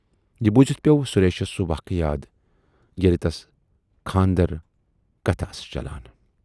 یہِ بوٗزِتھ پٮ۪و سُریشس سُہ واقعہٕ یاد ییلہِ تَس خاندر کتھٕ ٲس چلان۔